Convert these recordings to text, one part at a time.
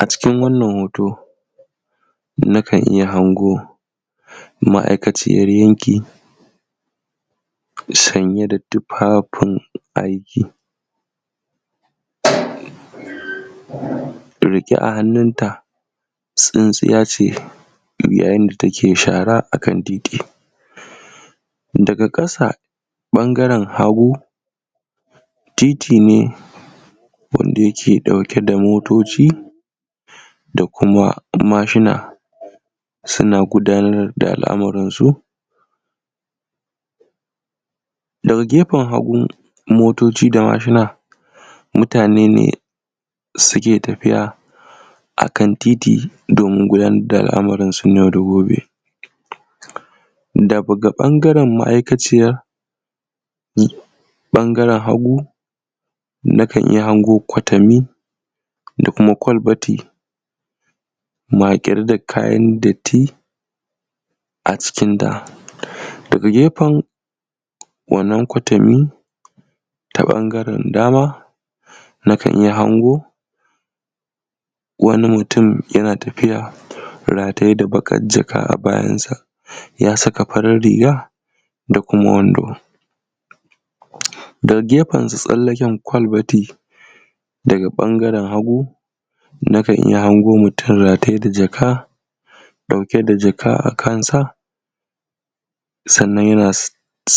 A cikin wannan hoto nakan iya hango ma’aikaciyar yanki sanye da tufafin aiki. Riƙe a hannunta tsintsiya ce yayin da take shara a kan titi. Daga ɓangaren hagu titi ne, wanda yake ɗauke da motoci da kuma mashina suna gudanar da al’amuransu .Daga gefen hagu motoci da mashina, muatane ne suke tafiya a kan titi domin gudanar da al’amuransu na yau da gobe. Daga ɓangaren ma’aikaciyar ɓangaren hagu, nakan iya hango kwatami da kuma kwalbati maƙare da kayan datti a cikinta. Daga gefen wannan kwatami ta ɓangaren dama, nakan iya hango wani mutum yana tafiya rataye da baƙar jaka a bayansa, ya saka farar riga da kuma wando. Daga gefensu tsallaken kwalbati daga ɓangaren hagu, nakan iya hango mutum rataye da jaka, ɗauke da jaka a kansa. Sannan yana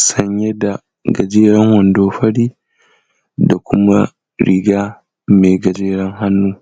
sanye da gajeren wando fari da kuma riga mai gajeren hannu.